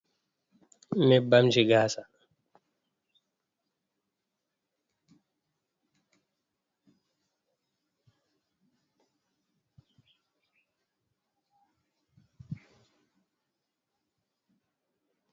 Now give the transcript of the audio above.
Nyebbam ji gasa.